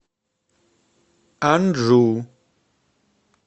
анджу